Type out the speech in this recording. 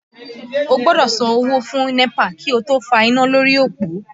O gbọ́dọ̀ san owó fún NEPA kí o tó fa iná lórí òpó